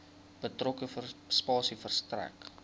betrokke spasie verstrek